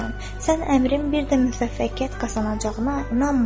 Sən əmrin bir də müvəffəqiyyət qazanacağına inanma!